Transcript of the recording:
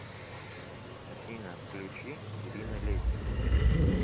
афина включи ирина летина